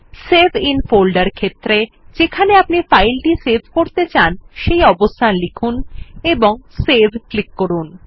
ইসাভে আইএন ফোল্ডের ক্ষেত্রে যেখানে আপনি ফাইলটি সেভ করতে চান সেই অবস্থান লিখুন এবং সেভ ক্লিক করুন